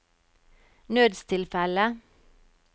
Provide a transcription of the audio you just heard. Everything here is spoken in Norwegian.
nødstilfelle